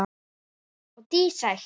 Og dísætt.